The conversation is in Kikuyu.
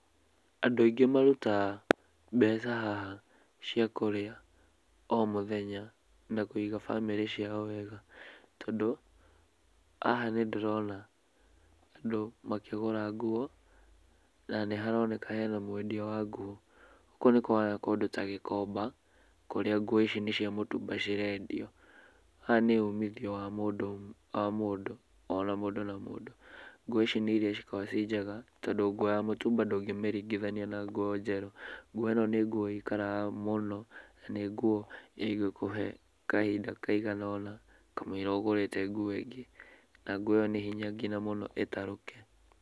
Andũ aingĩ marutaga mbeca haha cia kũrĩa o mũthenya, na kũiga bamĩrĩ ciao wega. Tondũ, haha nĩndĩrona andũ makĩgũra nguo, na nĩharoneka hena mwendia wa nguo. Koguo nĩ kũhana kũndũ ta gĩkomba, kũrĩa nguo ici nĩ cia mũtumba cirendio. Haha nĩ umithio wa mũndũ, wa mũndũ, ona mũndũ na mũndũ. Nguo ici nĩ iria cikoaragwo ci njega, tondũ nguo ya mũtumba ndũngĩmĩringithania na nguo njerũ. Nguo ĩno nĩ nguo ikaraga mũno na nĩ nguo ĩngĩkũhe kahinda kaigana ũna kamũira ũgũrĩte nguo ĩngĩ. Na nguo ĩyo nĩ hinya mũno nginya ĩtarũke.